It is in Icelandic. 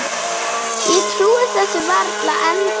Ég trúi þessu varla ennþá.